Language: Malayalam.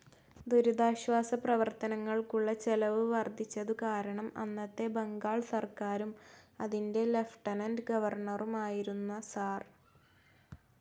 ദുരിതാശ്വാസ പ്രവർത്തനങ്ങൾക്കുള്ള ചെലവ് വർദ്ധിച്ചതുകാരണം അന്നത്തെ ബംഗാൾ സർക്കാരും, അതിന്റെ ലിയൂട്ടെനന്റ്‌ ഗവർണറുമായിരുന്ന സർ.